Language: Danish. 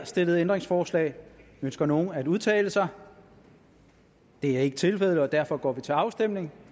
stillet ændringsforslag ønsker nogen at udtale sig det er ikke tilfældet og derfor går vi til afstemning